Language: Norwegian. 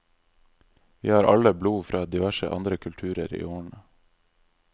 Vi har alle blod fra diverse andre kulturer i årene.